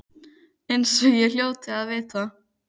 Eins og ég hljóti að vita.